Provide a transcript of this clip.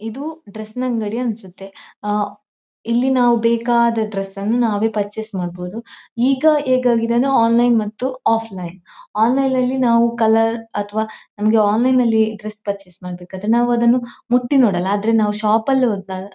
ಇದು ಡ್ರೆಸ್ ನ ಅಂಗಡಿ ಅನ್ಸುತ್ತೆ ಆಹ್ಹ್ ಇಲ್ಲಿ ನಾವು ಬೇಕಾದ ಡ್ರೆಸ್ ಅನ್ನು ನಾವೇ ಪರ್ಚೇಸ್ ಮಾಡಬಹುದು ಈಗ ಹೇಗ್ ಆಗಿದೆ ಅಂದ್ರೆ ಆನ್ಲೈನ್ ಮತ್ತು ಅಫ್ಲಿನ್ ಆನ್ಲೈನ್ ನಾವು ಕಲರ್ ಅಥವಾ ನಮಗೆ ಆನ್ಲೈನ್ ನಲ್ಲಿ ಡ್ರೆಸ್ ಪರ್ಚೆಸ್ ಮಾಡಬೇಕಾದರೆ ನಾವು ಅದನ್ನು ಮುಟ್ಟಿ ನೋಡೋಲ್ಲ ಆದ್ರೆ ನಾವು ಶಾಪ್ ನಲ್ಲಿ ಹೋದ್ರೆ--